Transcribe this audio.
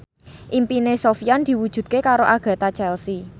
impine Sofyan diwujudke karo Agatha Chelsea